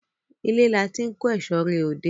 Ile la ti n ko eso re ode